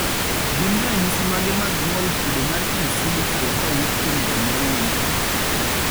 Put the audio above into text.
gin ranyisi mage mag ng'ol kido mar 2C mikalo kawuok kuom janyuol ne nyathi